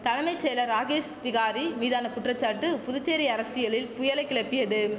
தலமை செயலர் ராகேஷ் பிகாரி மீதான குற்றச்சாட்டு புதுச்சேரி அரசியலில் புயலை கிளப்பியதும்